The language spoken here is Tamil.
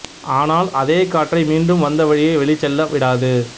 ஆனால் அதே காற்றை மீண்டும் வந்த வழியே வெளிச்செல்ல விடாது